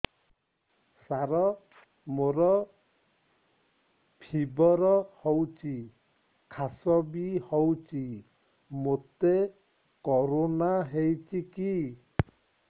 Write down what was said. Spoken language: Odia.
ସାର ମୋର ଫିବର ହଉଚି ଖାସ ବି ହଉଚି ମୋତେ କରୋନା ହେଇଚି କି